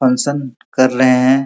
Function कर रहे हैं।